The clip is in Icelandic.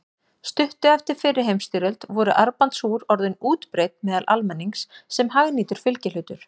Stuttu eftir fyrri heimsstyrjöld voru armbandsúr orðin útbreidd meðal almennings sem hagnýtur fylgihlutur.